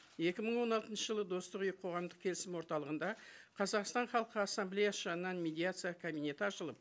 екі мың он алтыншы жылы достық үйі қоғамдық келісім орталығында қазақстан халқы ассамблеясы жанынан медиация кабинеті ашылып